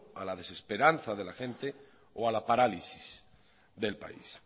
a la desesperanza de la gente o a la parálisis del país